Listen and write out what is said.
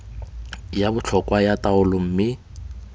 ya botlhokwa ya taolo mme